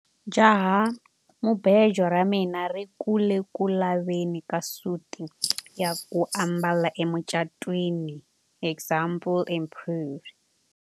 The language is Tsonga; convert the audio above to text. jahamubejo ra mina ri ku le ku laveni ka suti ya ku ambala emucatwiniexample improved